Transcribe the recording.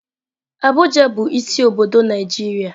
Abuja bu isi obodo Naijiria.